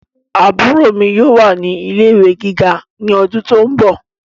Àbúrò mi yóò wà ní ilé ìwé gíga ní ọdún tó ń bọ̀